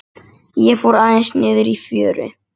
Hvað var það?